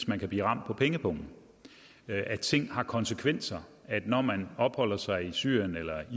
man kan blive ramt på pengepungen at ting har konsekvenser at når man opholder sig i syrien eller